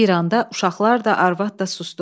Bir anda uşaqlar da, arvad da susdu.